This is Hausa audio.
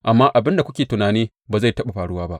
Amma abin da kuke tunani ba zai taɓa faruwa ba.